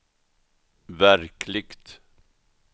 verkligt